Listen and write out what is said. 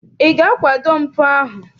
Ị ga-akwado mpụ ahụ?